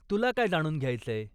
तुला काय जाणून घ्यायचंय?